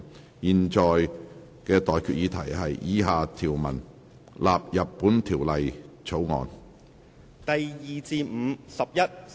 我現在向各位提出的待議議題是：以下條文納入本條例草案。